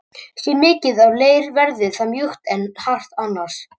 Sé mikið af leir verður það mjúkt en hart annars.